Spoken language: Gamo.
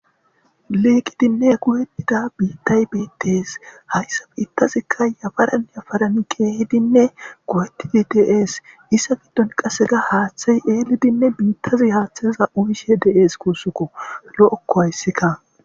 liiqidinne gu7enida biittay beittees hayssa f ittazikka yafaran yafaran keehidinne kowetidi deees issa giddon qasega haaththey eelidinne biittazi haaththeza uyishe de7ees kuussukko lo7okko hayssikka